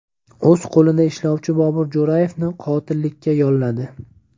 O‘z qo‘lida ishlovchi Bobur Jo‘rayevni qotillikka yolladi.